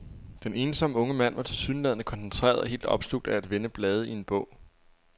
Den ensomme unge mand var tilsyneladende koncentreret og helt opslugt af at vende blade i en bog.